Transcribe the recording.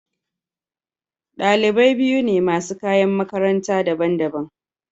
Dalibai biyu ne masu kayan makaranta daban-daban.